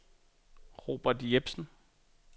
Robert Jepsen